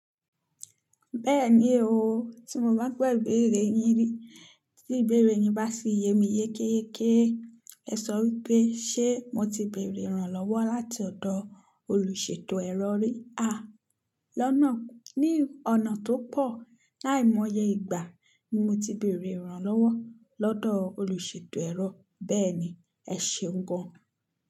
Bẹ́ẹ̀ni o, tí mo bá ń gbọ́ ìbéèrè yín rí, tí ìbéèrè yín bá ṣe ìyè mi yékéyéké, ẹ sọ wípé ṣé mo ti bèèrè ìrànlọ́wọ́ láti ọ̀dọ̀ olùṣètò ẹ̀rọ rí? A! Lọ́nà. Ní ọ̀nà tó pọ̀, láìmọye ìgbà ni mo ti bèèrè ìrànlọ́wọ́ lọ́dọ̀ olùṣètò ẹ̀rọ. Bẹ́ẹ̀ni, ẹ ṣeun gan.